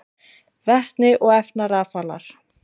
Vetni og efnarafalar: